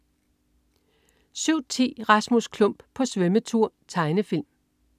07.10 Rasmus Klump på svømmetur. Tegnefilm